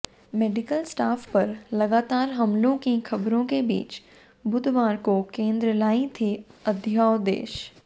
medical staff पर लगातार हमलों की खबरों के बीच बुधवार को केंद्र लाई थी अध्यादेश